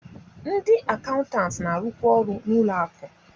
Ndị akaụntanti na-arụkwa ọrụ n'ụlọ akụ